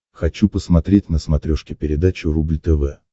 хочу посмотреть на смотрешке передачу рубль тв